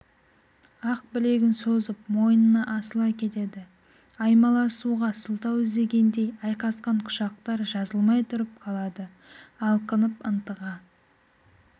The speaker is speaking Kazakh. ақ білегін созып мойнына асыла кетеді аймаласуға сылтау іздегендей айқасқан құшақтар жазылмай тұрып қалады алқынып ынтыға